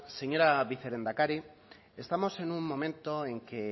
señora vicelehendakari estamos en un momento en que